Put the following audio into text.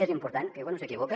és important que quan un s’equivoca